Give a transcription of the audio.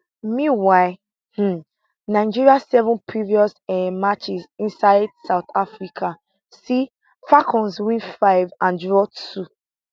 meanwhile um nigeria seven previous um matches inside south africa see falcons win five and draw two